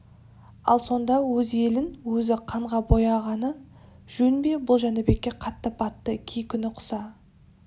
ал сонда өз елін өзі қанға бояғаны жөн бе бұл жәнібекке қатты батты кей күні құса